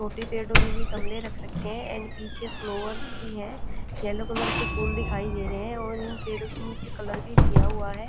छोटे पेड़ों के लिए गमले रख रखे हैं एंड पीछे फ्लावर्स भी है येलो कलर के फूल दिखाई दे रहे हैं और इन पेड़ों के नीचे कलर भी किया हुआ है।